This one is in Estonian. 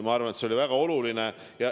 Ma arvan, et see oli väga oluline.